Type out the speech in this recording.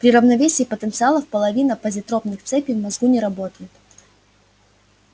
при равновесии потенциалов половина позитропных цепей в мозгу не работает